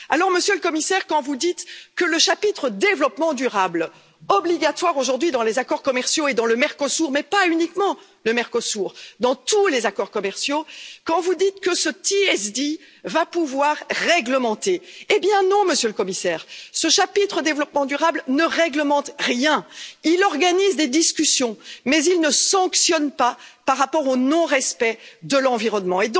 Alors, Monsieur le Commissaire, quand vous dites que le chapitre développement durable, obligatoire aujourd'hui dans les accords commerciaux et dans le Mercosur, mais pas uniquement le Mercosur, dans tous les accords commerciaux, quand vous dites que ce TSD va pouvoir réglementer, eh bien non, Monsieur le Commissaire, ce chapitre développement durable ne réglemente rien, il organise des discussions mais il ne sanctionne pas par rapport au non respect de l'environnement.